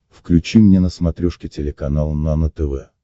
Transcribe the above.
включи мне на смотрешке телеканал нано тв